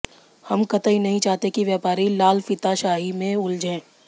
हम कतई नहीं चाहते कि व्यापारी लालफीताशाही में उलझे